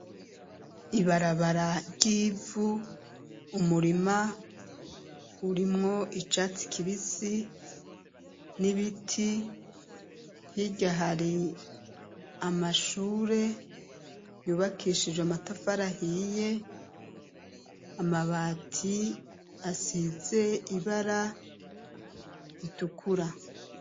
Ibarabara ry'ivu ,umurima urimwo icatsi kibisi n'ibiti, hirya hari amashure yubakishijwe amatafari ahiye, amabati asize ibara ritukura.